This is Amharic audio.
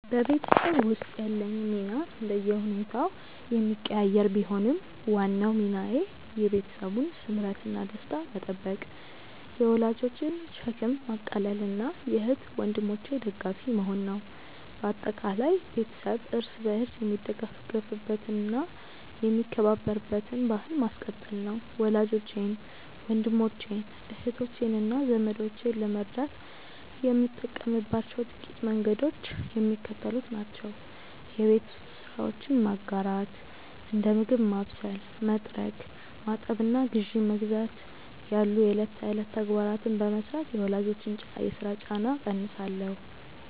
በቤተሰብ ውስጥ ያለኝ ሚና እንደየሁኔታው የሚቀያየር ቢሆንም፣ ዋናው ሚናዬ የቤተሰቡን ስምረትና ደስታ መጠበቅ፣ የወላጆችን ሸክም ማቃለልና የእህት ወንድሞቼ ደጋፊ መሆን ነው። በአጠቃላይ፣ ቤተሰብ እርስ በርስ የሚደጋገፍበትና የሚከባበርበትን ባሕል ማስቀጠል ነው። ወላጆቼን፣ ወንድሞቼን፣ እህቶቼንና ዘመዶቼን ለመርዳት የምጠቀምባቸው ጥቂት መንገዶች የሚከተሉት ናቸው የቤት ውስጥ ስራዎችን መጋራት፦ እንደ ምግብ ማብሰል፣ መጥረግ፣ ማጠብና ግዢ መግዛት ያሉ የዕለት ተዕለት ተግባራትን በመሥራት የወላጆችን የሥራ ጫና እቀንሳለሁ